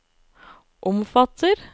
omfatter